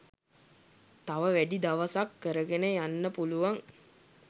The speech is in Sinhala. තව වැඩි දවසක් කරගෙන යන්න පුළුවන්